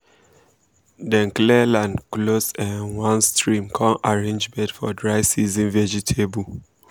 dem clear land close um one stream come arrange bed for dry season vegetable